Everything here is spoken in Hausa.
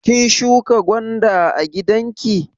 Kin shuƙa gwanda a gidanki?